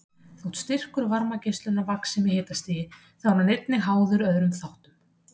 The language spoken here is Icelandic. Þótt styrkur varmageislunar vaxi með hitastigi þá er hann einnig háður öðrum þáttum.